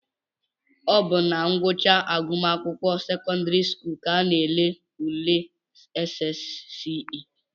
Ọ bụ na ngwụcha agụmakwụkwọ sekọndịrị skuulu ka a na-ele ule SSCE